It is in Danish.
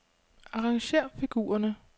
Arrangér figurerne.